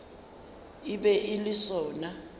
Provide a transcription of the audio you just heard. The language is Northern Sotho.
e be e le sona